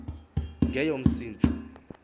ngeyomsintsi